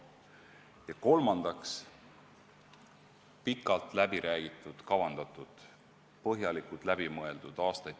Ja kolmandaks, meie aastaid tagasi tehtud pensionisüsteem on pikalt läbi räägitud, kavandatud, põhjalikult läbi mõeldud.